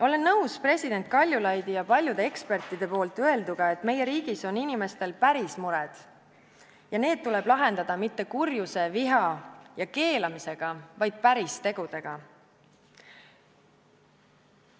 Olen nõus president Kaljulaidi ja paljude ekspertide öelduga, et meie riigis on inimestel päris mured ja need tuleb lahendada mitte kurjuse, viha ja keelamisega, vaid päris tegudega.